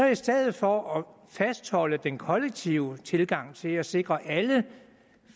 i stedet for at fastholde den kollektive tilgang til at sikre alle